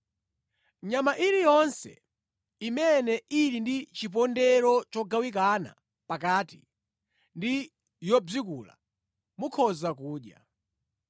Nyama iliyonse imene ili ndi chipondero chogawikana pakati ndi yobzikula mukhoza kudya.